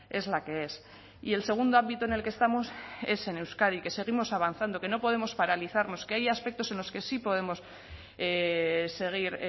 es la que es y el segundo ámbito en el que estamos es en euskadi que seguimos avanzando que no podemos paralizarnos que hay aspectos en los que sí podemos seguir